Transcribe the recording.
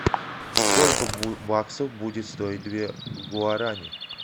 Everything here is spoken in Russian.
сколько баксов будет стоить две гуарани